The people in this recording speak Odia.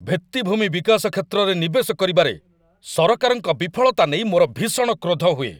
ଭିତ୍ତିଭୂମି ବିକାଶ କ୍ଷେତ୍ରରେ ନିବେଶ କରିବାରେ ସରକାରଙ୍କ ବିଫଳତା ନେଇ ମୋର ଭୀଷଣ କ୍ରୋଧ ହୁଏ।